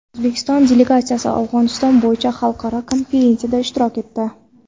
O‘zbekiston delegatsiyasi Afg‘oniston bo‘yicha xalqaro konferensiyada ishtirok etdi.